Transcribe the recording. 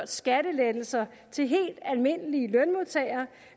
skattelettelser til helt almindelige lønmodtagere